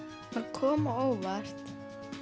kom á óvart